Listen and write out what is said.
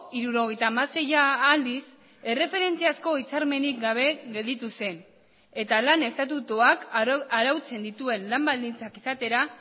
hirurogeita hamaseia aldiz erreferentziazko hitzarmenik gabe gelditu zen eta lan estatutuak arautzen dituen lan baldintzak izatera